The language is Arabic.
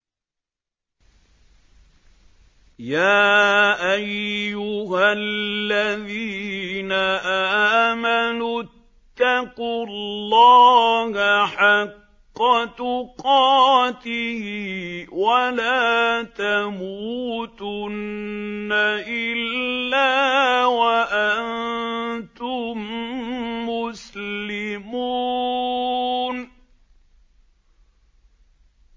يَا أَيُّهَا الَّذِينَ آمَنُوا اتَّقُوا اللَّهَ حَقَّ تُقَاتِهِ وَلَا تَمُوتُنَّ إِلَّا وَأَنتُم مُّسْلِمُونَ